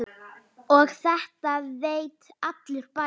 Og þetta veit allur bærinn?